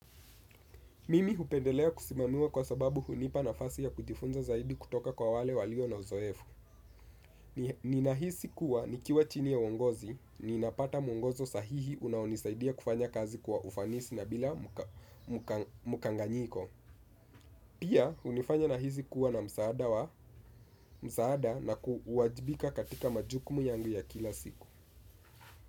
Mimi hupendelea kusimamiwa kwa sababu hunipa nafasi ya kujifunza zaidi kutoka kwa wale walio na uzoefu. Ninahisi kuwa nikiwa chini ya uongozi, ninapata mwongozo sahihi unaonisaidia kufanya kazi kwa ufanisi na bila mukanganyiko. Pia, hunifanya nahisi kuwa na msaada na kuwajibika katika majukumu yangu ya kila siku.